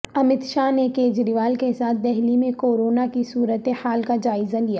امیت شاہ نے کیجریوال کے ساتھ دہلی میں کورونا کی صورتحال کا جائزہ لیا